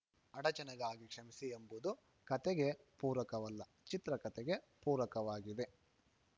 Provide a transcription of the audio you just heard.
ಅಡಚಣೆಗಾಗಿ ಕ್ಷಮಿಸಿ ಎಂಬುದು ಕತೆಗೆ ಪೂರಕವಲ್ಲ ಚಿತ್ರಕತೆಗೆ ಪೂರಕವಾಗಿದೆ